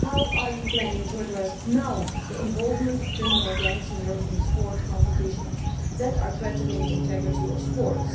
How are you planning to address, now, the involvement of criminal gangs in European sports competitions, which is threatening the integrity of sport?